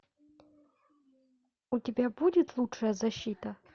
у тебя будет лучшая защита